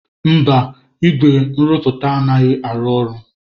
Mba, igwe nrụpụta anaghị arụ ọrụ.